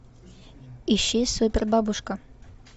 ищи супербабушка